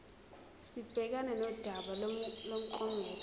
sibhekane nodaba lomklomelo